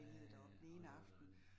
Ja, åh det var dejligt